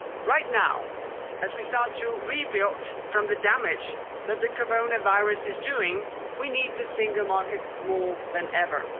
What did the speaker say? Right now, as we start to rebuild from the damage that the coronavirus is doing, we need the single market more than ever.